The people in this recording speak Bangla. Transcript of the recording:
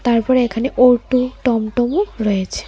তারপর এখানে ওটো টমটমও রয়েছে।